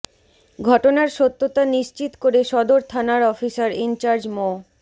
ঘটনার সত্যতা নিশ্চিত করে সদর থানার অফিসার ইনচার্জ মো